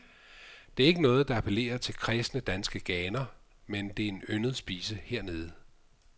Det er ikke noget, der appellerer til kræsne danske ganer, men det er en yndet spise hernede.